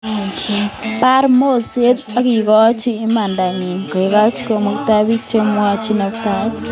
Bar moset akikochi imandanyi kekoch konunotoik bik chemwoitoi nametab osoya kou koborostoikab logoiwek